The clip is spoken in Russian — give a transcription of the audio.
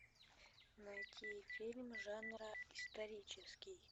найти фильм жанра исторический